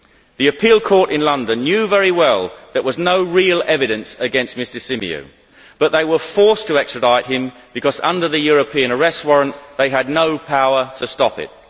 The appeal court in London knew very well there was no real evidence against Mr Symeou but they were forced to extradite him because, under the European arrest warrant, they had no power to stop it.